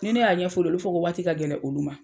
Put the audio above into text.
Ni ne y'a ɲɛfɔ olu ye, olu b'a fɔ ko waati ka gɛlɛn olu ma.